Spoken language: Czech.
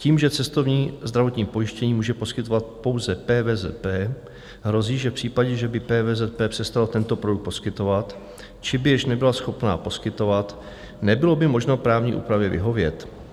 Tím, že cestovní zdravotní pojištění může poskytovat pouze PVZP, hrozí, že v případě, že by PVZP přestala tento produkt poskytovat či by již nebyla schopna poskytovat, nebylo by možno právní úpravě vyhovět.